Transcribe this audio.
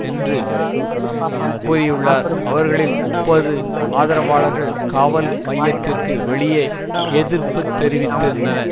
என்று கூறியுள்ளார் அவர்களில் முப்பது ஆதரவாளர்கள் காவல் மையத்திற்கு வெளியே எதிர்ப்பு தெரிவித்திருந்தனர்